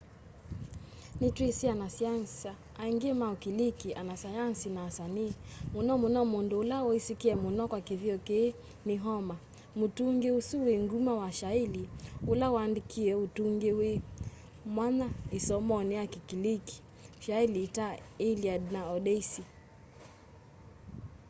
nitwisi anasiasa aingi ma ukiliki anasayanzi na asanii muno muno mundu ula wisikie muno kwa kithio kii ni homer mutungi usu wi nguma wa shaili ula waandikie utungi wi mwanya isomoni ya kikiliki shaili ta iliad na odyssey